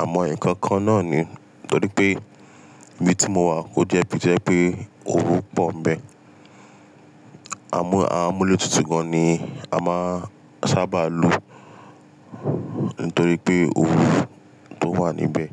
Àmọ́ ẹnìkan kan náà ni, torí pé ibi tí mo wà ó je ibi to je pẹ́ òrù pọ̀ ń bẹ. Àmúlétutù gan an ni a máa ń sábà lò nítorí pé òrù tó wà níbẹ̀.